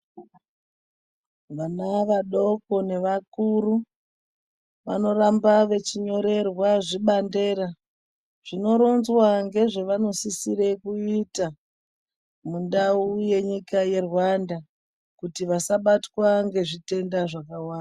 Vana vadoko nevakuru vanoramba vechinyorerwa zvibandera zvino ronzwa ngezve vanosisire kuita, mundau yenyika yeRwanda kuti vasabatwa ngezvitenda zvakawanda.